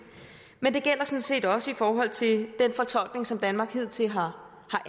men det gælder sådan set også i forhold til den fortolkning som danmark hidtil har